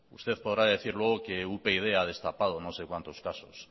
usted podrá decir luego que upyd ha destapado no sé cuantos casos